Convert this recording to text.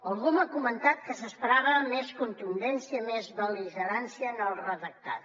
algú m’ha comentat que s’esperava més contundència i més bel·ligerància en el redactat